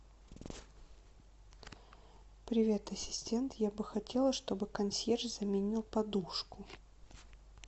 привет ассистент я бы хотела чтобы консьерж заменил подушку